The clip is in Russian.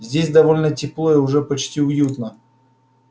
здесь довольно тепло и уже почти уютно